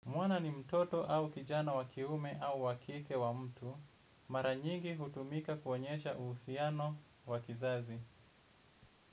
Mwana ni mtoto au kijana wa kiume au wa kike wa mtu, mara nyigi hutumika kuonyesha uhusiano wa kizazi.